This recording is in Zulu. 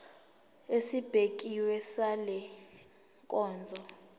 esibekiwe sale nkonzo